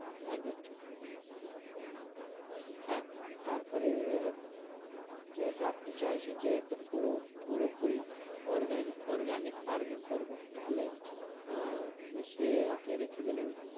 একদম ঠিক হ্যাঁ তারপরে যেহেতু আপনি চাইছেন যে একদম পুরো পুরোপুরি organic, orgnic farm ই করবেন তাহলে আহ মিশিয়ে আপনি রেখে দিলেন।